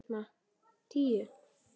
Á Skalla klukkan tíu!